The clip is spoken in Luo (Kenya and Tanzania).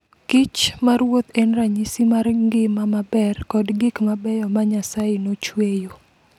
Kich maruoth en ranyisi mar ngima maber kod gik mabeyo ma Nyasaye nochueyo.